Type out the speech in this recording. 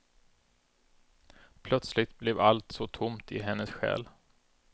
Plötsligt blev allt så tomt i hennes själ.